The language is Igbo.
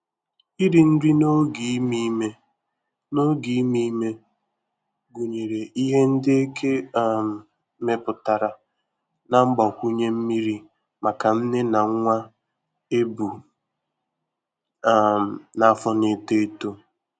iri nri n'oge ime ime n'oge ime ime gụnyere Ihe ndị eke um mepụtara na mgbakwunye mmiri maka nne na nwa ebu um n'afọ na-eto etọ